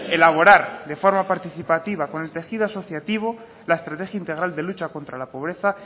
elaborar de forma participativa con el tejido asociativo la estrategia integral de lucha contra la pobreza